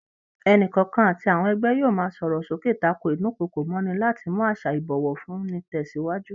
Ẹnìkọ̀ọ̀kan àti àwọn ẹgbẹ́ yóò máa sọ̀rọ̀ sókè tako ídùnkokò mọ́'ni láti mú àṣà ìbọ̀wọ̀ fún ni tẹsiwaju